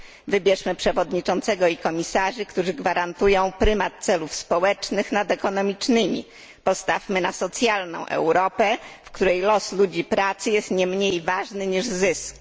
Wybierzmy przewodniczącego i komisarzy, którzy gwarantują prymat celów społecznych nad ekonomicznymi, postawmy na socjalną Europę, w której los ludzi pracy jest nie mniej ważny niż zysk.